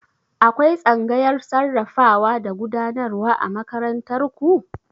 Akwai tsangayar sarrafawa da gudanarwa a makarantar ku?